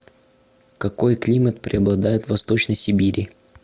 какой климат преобладает в восточной сибири